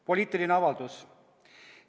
"Poliitiline avaldus.